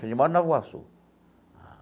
Falei lá em Nova Iguaçu.